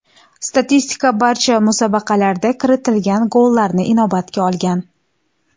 Statistika barcha musobaqalarda kiritilgan gollarni inobatga olgan.